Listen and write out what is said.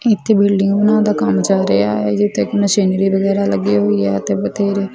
ਇੱਥੇ ਬਿਲਡਿੰਗ ਬਣਾਉਣ ਦਾ ਕੰਮ ਚੱਲ ਰਿਹਾ ਹੈ ਜਿੱਥੇ ਮਸ਼ੀਨਰੀ ਵਗੈਰਾ ਲੱਗੀ ਹੋਈ ਆ ਤੇ ਬਥੇਰੇ --